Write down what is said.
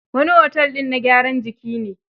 Wani otel din na gyaran jiki ne.